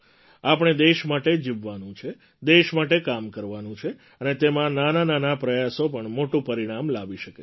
આપણે દેશ માટે જીવવાનું છે દેશ માટે કામ કરવાનું છે અને તેમાં નાનાનાના પ્રયાસો પણ મોટું પરિણામ લાવી શકે છે